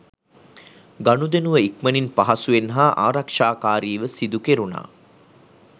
ගනුදෙනුව ඉක්මනින් පහසුවෙන් හා ආරක්ෂාකාරීව සිදුකෙරුණා.